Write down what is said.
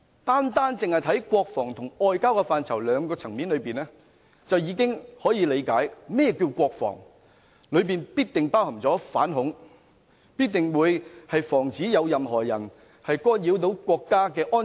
單看國防和外交這兩個層面，我們已可理解甚麼是國防，當中必定包含反恐，亦必須防止任何人干擾國家安全。